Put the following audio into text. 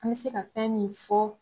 An bɛ se ka fɛn min fɔ